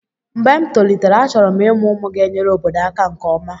mgbe m tolitere, achọrọ m ịmụ ụmụ ga-enyere obodo aka nke ọma